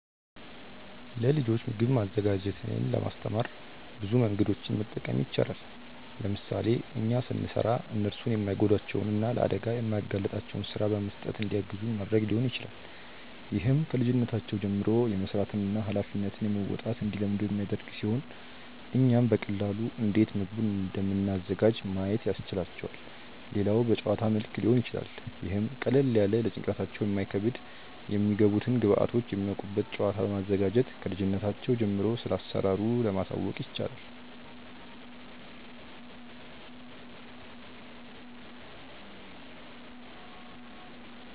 ለልጆች ምግብ ማዘጋጀትን ለማስተማር ብዙ መንገዶችን መጠቀም ይቻላል። ለምሳሌ እኛ ስንሰራ እነርሱን የማይጎዳቸውን እና ለአደጋ የማያጋልጣቸውን ስራ በመስጠት እንዲያግዙን ማድረግ ሊሆን ይችላል። ይህም ከልጅነታቸው ጀምሮ የመስራትን እና ሃላፊነት መወጣትን እንዲለምዱ የሚያደርግ ሲሆን እኛም በቀላሉ እንዴት ምግቡን እንደምናዘጋጅ ማየት ያስችላቸዋል። ሌላው በጨዋታ መልክ ሊሆን ይችላል ይህም ቀለል ያለ ለጭንቅላታቸው የማይከብድ የሚገቡትን ግብዐቶች የሚያውቁበት ጨዋታ በማዘጋጀት ክልጅነታቸው ጀምሮ ስለአሰራሩ ማሳወቅ ይቻላል።